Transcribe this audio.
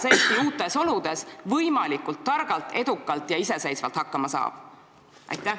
Kuidas Eesti uutes oludes võimalikult targalt, edukalt ja iseseisvalt hakkama saab?